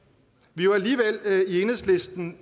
vi har alligevel i enhedslisten